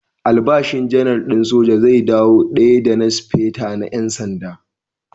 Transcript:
Albashin Janar din soja zai dawo daya da na Speta Janar na ƴan sanda.